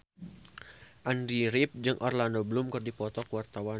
Andy rif jeung Orlando Bloom keur dipoto ku wartawan